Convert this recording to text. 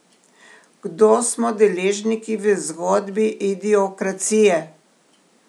Kdo smo deležniki v zgodbi idiokracije?